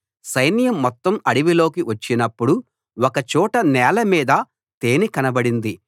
సైన్యం మొత్తం అడవిలోకి వచ్చినప్పుడు ఒకచోట నేలమీద తేనె కనబడింది